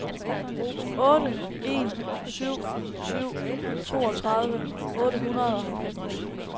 otte en syv syv toogtredive otte hundrede og halvfems